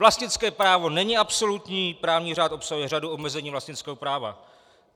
Vlastnické právo není absolutní, právní řád obsahuje řadu omezení vlastnického práva.